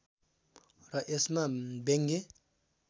र यसमा व्यङ्ग्य